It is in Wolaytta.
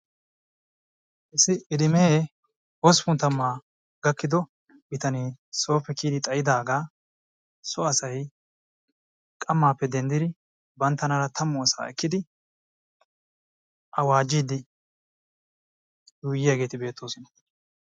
Issi idimee hosppun taamma gidido bitanee sooppe kiyidi xayidaagaa so asay qammaappe denddidi banttanaara taammu asaa eekkidi awaajiidi yuuyiyaageti beettoosona.